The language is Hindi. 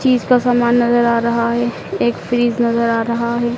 चीज का सामान नजर आ रहा है एक फ्रिज नजर आ रहा है।